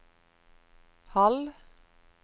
halv